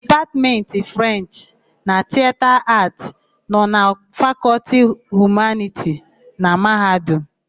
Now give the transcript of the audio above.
Dipatmentị Frenchị na Tiyeta Aatị nọ na Fakọltị Humaniti na Mahadum.